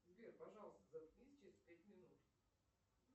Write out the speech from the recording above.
сбер пожалуйста заткнись через пять минут